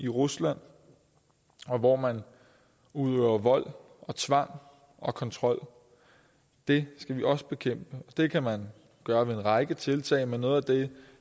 rusland og hvor man udøver vold og tvang og kontrol det skal vi også bekæmpe det kan man gøre ved en række tiltag men noget af det